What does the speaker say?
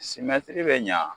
bɛ ɲa